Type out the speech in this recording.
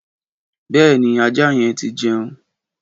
Bèéní, àjá yen ti jeun